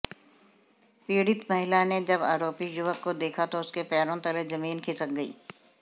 पीडि़त महिला ने जब आरोपी युवक को देखा तो उसके पैरों तले जमीन खिसक गई